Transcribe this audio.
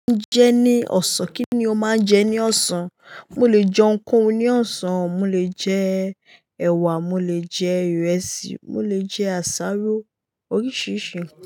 Ǹjẹ́ ní ọ̀sán, kí ni o máa ń jẹ ní ọ̀sán? Mo lè jẹun kóo ní ọ̀sán, mo lè jẹ ẹ̀wà, mo lè jẹ ìrẹsì, mo lè jẹ àsáró oríṣiríṣi.